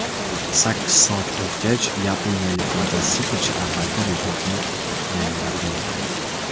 Sakkiz soat o‘tgach, yaponiyalik mototsiklchi avvalgi rekordni yangilab bo‘lgandi.